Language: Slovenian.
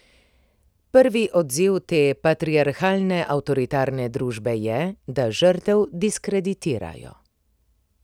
Prvi odziv te patriarhalne avtoritarne družbe je, da žrtev diskreditirajo.